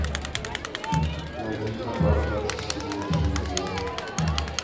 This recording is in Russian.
найди хабар двадцать четыре на телевизоре